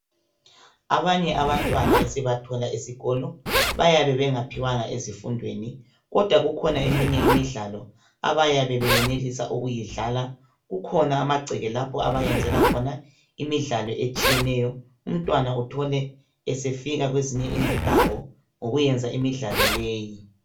Abanye abantwana esibathola esikolo bayabe bengaphiwanga ezifundweni. Kodwa kukhona eminye imidlalo abayabe benelisa ukuyidlala. Kukhona amagceke lapho abayenzela khona imidlalo etshiyeneyo. Umntwana uthole esefika kwezinye izindawo ngokuyenza imidlalo leyi.